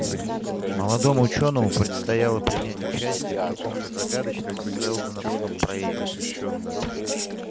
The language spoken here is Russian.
молодому учёному предстояло принять участие в каком-то загадочном сэлдоновском проекте